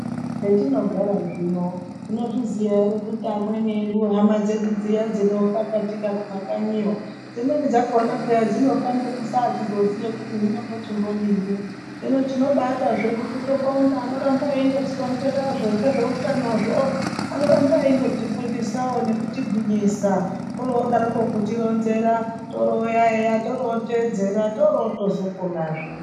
Hetinogara zvino tinozviziya ere kuti amweni edu hama dzedu dviya dzinofa kumakanyiyo dzimweni dzakhona dzinofa ngekusachizoziye kuti ndodini hino tinobada zvedu kutobonga anoramba eindotironzerazvo ngezveutanozvo anoramba eindotifundisawo nekutigwinyisa orodarokwo kutironzera toro eya eya torotedzera toroponazve.